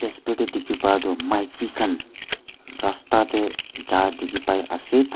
dae dekhe para tuh maiki khan rasta dae jha dekhe pai ase aro.